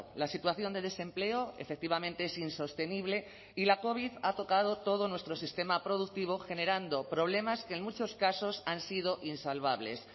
la situación de desempleo efectivamente es insostenible y la covid ha tocado todo nuestro sistema productivo generando problemas que en muchos casos han sido insalvables